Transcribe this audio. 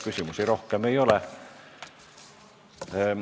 Küsimusi rohkem ei ole.